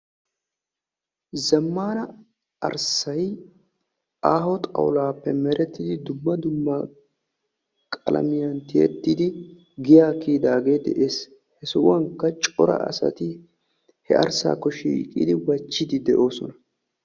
Zammana arssay aaho xawulaappe merettidi dumma dumma qalamiaan tiyettidi giyaa kiyidaagee de'ees. he sohuwaankka cora asati he arssaakko shiiqidi wachchiidi de'oosona.